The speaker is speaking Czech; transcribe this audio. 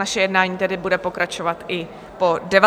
Naše jednání tedy bude pokračovat i po 19. hodině.